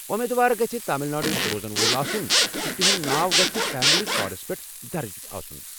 اُمیٖد وار گژھہِ تامل ناڈوک روزن وول آسن تہٕ تہنٛد ناو گژھہِ فیملی کارڈس پیٹھ درج آسن۔